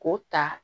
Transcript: K'o ta